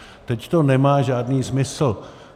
Teď to nemá žádný smysl.